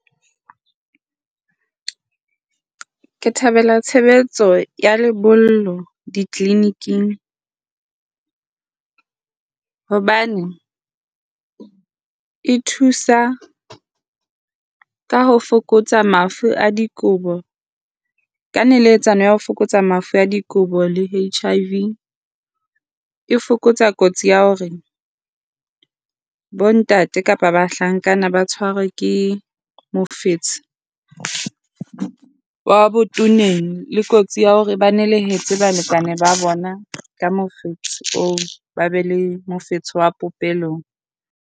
Ke thabela tshebetso ya lebollo di-clinic-ng hobane e thusa ka ho fokotsa mafu a dikobo ka neletsano ya ho fokotsa mafu a dikobo le HIV. E fokotsa kotsi ya hore bontate kapa bahlankana ba tshwarwe ke mofetshe wa botoneng le kotsi ya hore ba nelehetse balekane ba bona ka mofetshe oo, ba be le mofetshe wa popelong.